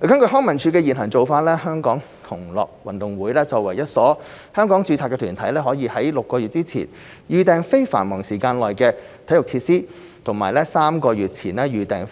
根據康文署的現行做法，香港同樂運動會作為一所香港註冊團體，可於6個月前預訂非繁忙時間內的體育設施及於3個月前預訂